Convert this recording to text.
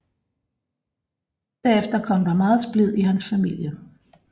Derefter kom der meget splid i hans familie